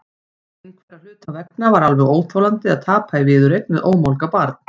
Einhverra hluta vegna var alveg óþolandi að tapa í viðureign við ómálga barn.